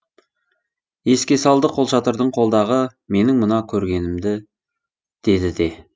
еске салды қолшатырың қолдағы менің мына көргенімді деді де